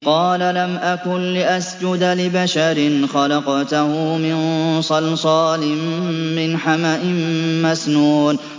قَالَ لَمْ أَكُن لِّأَسْجُدَ لِبَشَرٍ خَلَقْتَهُ مِن صَلْصَالٍ مِّنْ حَمَإٍ مَّسْنُونٍ